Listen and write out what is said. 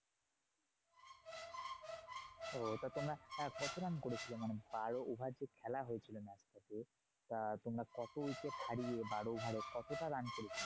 ওহ তা তোমরা আহ কত run করেছিলে? মানে বারো over যে খেলা হয়েছিল match টা তে। তা তোমরা কত wicket হারিয়ে বারো over এ কতটা run করেছিলে?